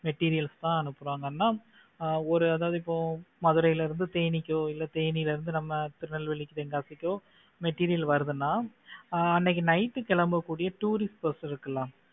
materials எல்லாம் அனுப்புறாங்கன்னா ஒரு அதாவது இப்போ மதுரையில இருந்து தேனிக்கோ இல்ல தேனியில இருந்து நம்ம திருநெல்வேலி தென்காசி கோ material வருதுன்னா அன்னைக்கு night கெளம்பக்கூடிய tourist bus இருக்கு இல்ல